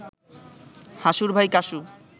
হাসুর ভাই কাসু